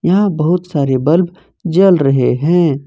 यहां बहुत सारे बल्ब जल रहे हैं।